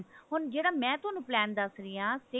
ਹੁਣ ਜਿਹੜਾ ਮੈ ਤੁਹਾਨੂੰ plan ਦੱਸ ਰਹੀ ਹਾਂ six